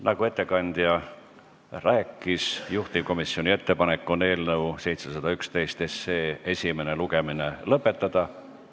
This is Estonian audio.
Nagu ettekandja rääkis, juhtivkomisjoni ettepanek on eelnõu 711 esimene lugemine lõpetada.